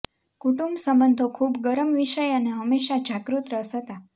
કુટુંબ સંબંધો ખૂબ ગરમ વિષય અને હંમેશા જાગૃત રસ હતા